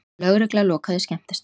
Lögregla lokaði skemmtistað